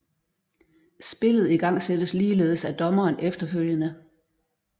Spillet igangsættes ligeledes af dommeren efterfølgende